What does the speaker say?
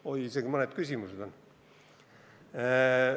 Oi, isegi mõned küsimused on!